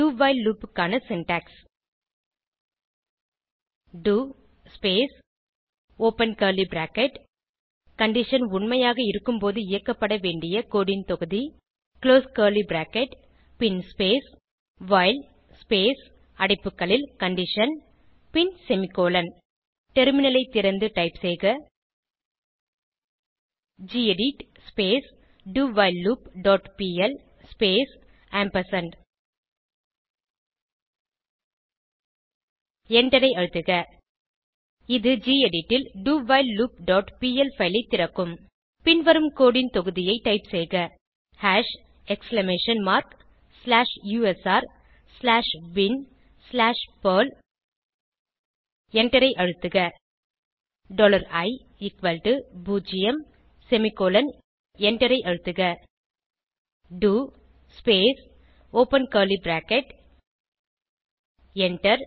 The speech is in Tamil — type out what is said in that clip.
do வைல் லூப் க்கான syntax do space open curly bracket condition உண்மையாக இருக்கும்போது இயக்கப்பட வேண்டிய கோடு ன் தொகுதி குளோஸ் கர்லி பிராக்கெட் பின் ஸ்பேஸ் வைல் ஸ்பேஸ் அடைப்புக்களில் கண்டிஷன் பின் செமிகோலன் டெர்மினலைத் திறந்து டைப் செய்க gedit do while loop dot P L space ampersand எண்டரை அழுத்துக இது கெடிட் ல் dowhileloopபிஎல் பைல் ஐ திறக்கும் பின்வரும் கோடு ன் தொகுதியை டைப் செய்க hash exclamation mark slash usr slash bin slash perl எண்டரை அழுத்துக டாலர் இ ஈக்வல்ஸ் டோ பூஜ்ஜியம் செமிகோலன் எண்டரை அழுத்துக do space open curly bracket enter